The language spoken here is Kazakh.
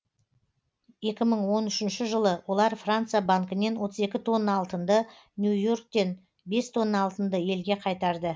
екі мың он үшінші жылы олар франция банкінен отыз екі тонна алтынды нью йорктен бес тонна алтынды елге қайтарды